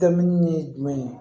Dɛmɛni ye jumɛn ye